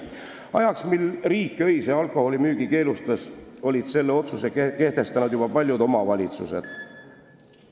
Selleks ajaks, mil riik öise alkoholimüügi keelustas, olid selle otsuse kehtestanud juba paljud omavalitsused.